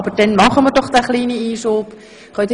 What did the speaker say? Aber nun machen wir diesen kleinen Einschub noch.